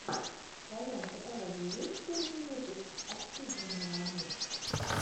в твоем каталоге есть первый выпуск оксидженуанум